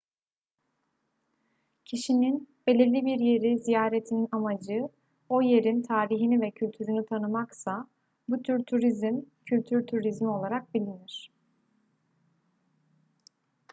kişinin belirli bir yeri ziyaretinin amacı o yerin tarihini ve kültürünü tanımaksa bu tür turizm kültür turizmi olarak bilinir